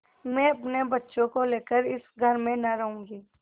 मैं अपने बच्चों को लेकर इस घर में न रहूँगी